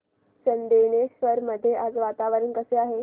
चंदनेश्वर मध्ये आज वातावरण कसे आहे